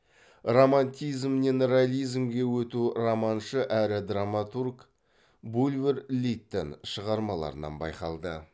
романтизмнен реализмге өту романшы әрі драматург булвер литтон шығармаларынан байқалды